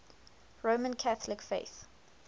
roman catholic faith